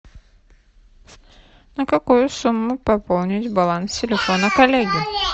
на какую сумму пополнить баланс телефона коллеги